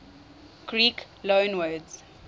greek loanwords